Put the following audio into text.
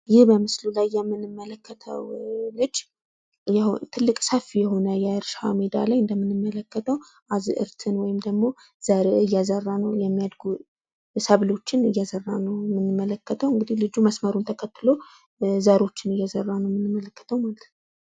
ይህ በምስሉ ላይ የምንመለከተው ልጅ ሰፊ የሆነ የእርሻ ሜዳ ላይ የሚበቅሉና የሚያድጉ አዝርቶችን መስመሩን ተከትሎ እየዘራ ነው።